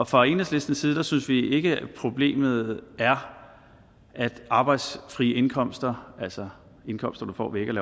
fra enhedslistens side synes vi ikke problemet er at arbejdsfri indkomster altså indkomster du får ikke